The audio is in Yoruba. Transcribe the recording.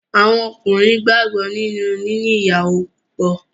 Àwọn Ọkùnrin gbàgbọ́ nínú níní ìyàwó púpọ̀.